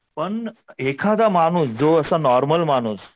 पण एखादा माणूस जो असा नॉर्मल माणूस